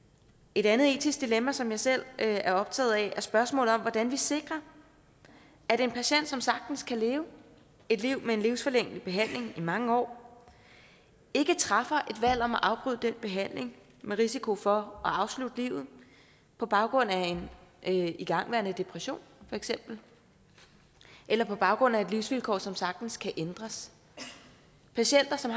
et andet etisk dilemma som jeg selv er optaget af er spørgsmålet om hvordan vi sikrer at en patient som sagtens kan leve et liv med en livsforlængende behandling i mange år ikke træffer et valg om at afbryde den behandling med risiko for at afslutte livet på baggrund af en igangværende depression for eksempel eller på baggrund af et livsvilkår som sagtens kan ændres patienter som